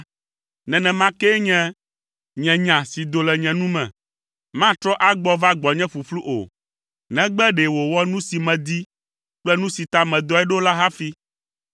nenema kee nye, nye nya si do le nye nu me, matrɔ agbɔ va gbɔnye ƒuƒlu o; negbe ɖe wòwɔ nu si medi kple nu si ta medɔe ɖo la hafi.